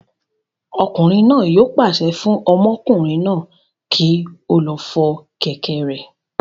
Ọkùnrin náà yóò pàṣẹ fún ọmọkùnrin náà kí ó lọ fọ kẹ̀kẹ́ rẹ̀